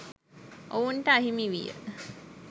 ඔවුන්ට අහිමි විය.